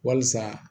Wasa